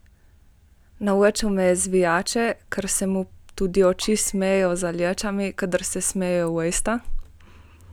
Naučil me je zvijače, ker se mu tudi oči smejejo za lečami, kadar se smejejo usta.